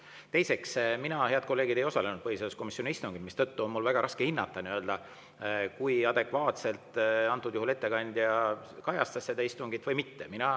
Teiseks, mina, head kolleegid, ei osalenud põhiseaduskomisjoni istungil, mistõttu on mul väga raske hinnata, kui adekvaatselt ettekandja seda istungit kajastas.